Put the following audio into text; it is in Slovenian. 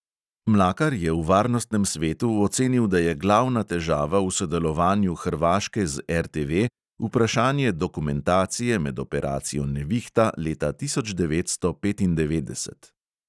Mlakar je v varnostnem svetu ocenil, da je glavna težava v sodelovanju hrvaške z RTV vprašanje dokumentacije med operacijo nevihta leta tisoč devetsto petindevetdeset.